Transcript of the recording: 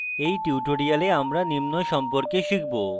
in tutorial আমরা নিম্ন সম্পর্কে শিখব: